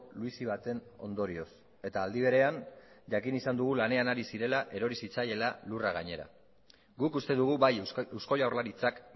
luizi baten ondorioz eta aldi berean jakin izan dugu lanean ari zirela erori zitzaiela lurra gainera guk uste dugu bai eusko jaurlaritzak